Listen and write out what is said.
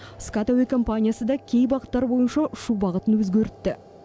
скат әуе компаниясы да кей бағыттар бойынша ұшу бағытын өзгертті